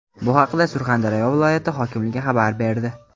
Bu haqda Surxondaryo viloyati hokimligi xabar berdi .